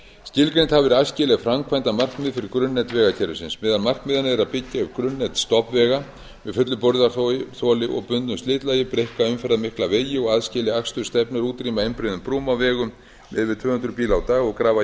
skilgreind hafa verið æskileg framkvæmdamarkmið fyrir grunnnet vegakerfisins meðal markmiðanna er að byggja upp grunnnet stofnvega með fullu burðarþoli og bundnu slitlagi breikka umferðarmikla vegi og aðskilja akstursstefnur útrýma einbreiðum brúm á vegum með yfir tvö hundruð bíla á dag og grafa